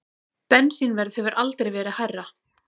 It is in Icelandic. Bensínverð hefur aldrei verið hærra